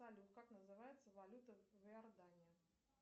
салют как называется валюта в иордании